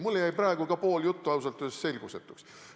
Mulle jäi praegu pool juttu ausalt öeldes selgusetuks.